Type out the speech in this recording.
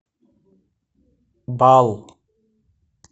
бал